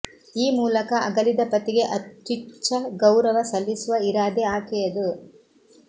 ಈ ಮೂಲಕ ಅಗಲಿದ ಪತಿಗೆ ಅತ್ಯುಚ್ಚ ಗೌರವ ಸಲ್ಲಿಸುವ ಇರಾದೆ ಆಕೆಯದು